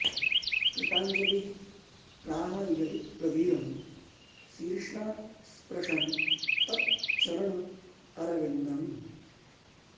कृताञ्जलिः प्राह यदुप्रवीरम् शीर्ष्णा स्पृशन् तत् चरण अरविन्दम्